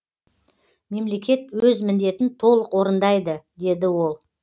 мемлекет өз міндетін толық орындайды деді ол